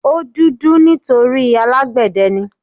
O dúdú nítorí alágbẹ̀dẹ ni.